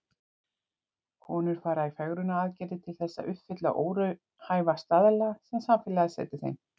Konur fara í fegrunaraðgerðir til þess að uppfylla óraunhæfa staðla sem samfélagið setur þeim.